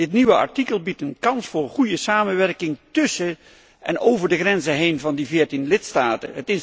Dit nieuwe artikel biedt een kans voor goede samenwerking tussen en over de grenzen heen van die veertien lidstaten.